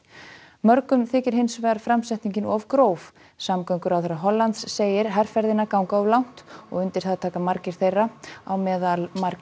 mörgum þykir hins vegar framsetningin of gróf samgönguráðherra Hollands segir herferðina ganga of langt og undir það taka margir þeirra á meðal margir